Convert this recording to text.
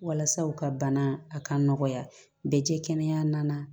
Walasa u ka bana a ka nɔgɔya bɛ jɛ kɛnɛya na